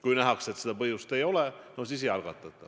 Kui nähakse, et selleks põhjust ei ole, no siis ei algatata.